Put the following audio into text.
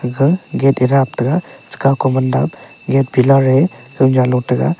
kha gate e dap taiga chekaw ko mandap gate pillar e kanyan lo taiga.